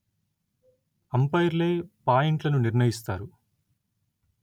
అంపైర్లే పాయింట్లను నిర్ణయిస్తారు